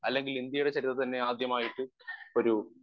speaker 1 അല്ലെങ്കിൽ ഇന്ത്യയുടെ ചരിത്രത്തിൽ തന്നെയാദ്യമായിട്ട് ഒരു